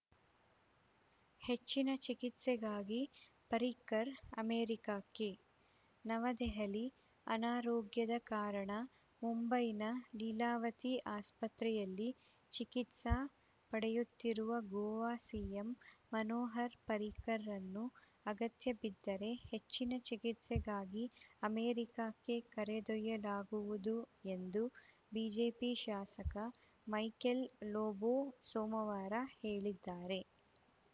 ಹೆಚ್ಚಿನ ಚಿಕಿತ್ಸೆಗಾಗಿ ಪರ್ರಿಕರ್‌ ಅಮೆರಿಕಕ್ಕೆ ನವದೆಹಲಿ ಅನಾರೋಗ್ಯದ ಕಾರಣ ಮುಂಬೈನ ಲೀಲಾವತಿ ಆಸ್ಪತ್ರೆಯಲ್ಲಿ ಚಿಕಿತ್ಸೆ ಪಡೆಯುತ್ತಿರುವ ಗೋವಾ ಸಿಎಂ ಮನೋಹರ್‌ ಪರ್ರಿಕರ್‌ರನ್ನು ಅಗತ್ಯಬಿದ್ದರೆ ಹೆಚ್ಚಿನ ಚಿಕಿತ್ಸೆಗಾಗಿ ಅಮೆರಿಕಕ್ಕೆ ಕರೆದೊಯ್ಯಲಾಗುವುದು ಎಂದು ಬಿಜೆಪಿ ಶಾಸಕ ಮೈಕೆಲ್‌ ಲೋಬೋ ಸೋಮವಾರ ಹೇಳಿದ್ದಾರೆ